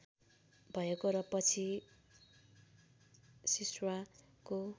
भएको र पछि शिश्वाको